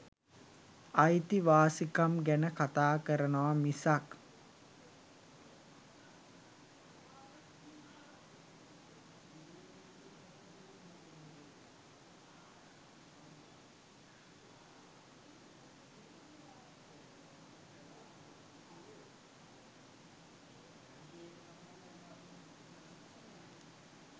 අයිතිවාසිකම් ගැන කතා කරනව මිසක්